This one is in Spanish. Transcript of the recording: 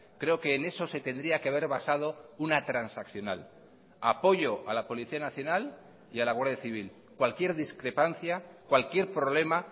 creo que en eso se tendría que haber basado una transaccional apoyo a la policía nacional y a la guardia civil cualquier discrepancia cualquier problema